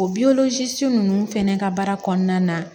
O ninnu fɛnɛ ka baara kɔnɔna na